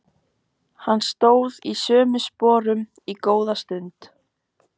Hann stóð í sömu sporunum góða stund.